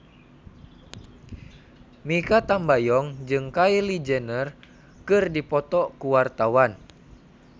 Mikha Tambayong jeung Kylie Jenner keur dipoto ku wartawan